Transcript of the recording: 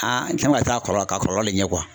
n kan ka taa kɔrɔ a ka kɔlɔlɔ de ɲɛ